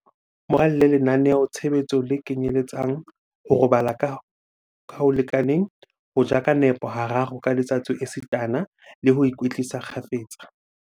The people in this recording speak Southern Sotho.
Mo ralle lenaneo-tshebetso le kenyeletsang, ho robala ka ho lekaneng, ho ja ka nepo hararo ka letsatsi esitana le ho ikwetlisa kgafetsa.